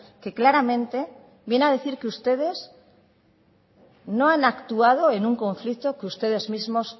que claramente viene a decir que ustedes no han actuado en un conflicto que ustedes mismos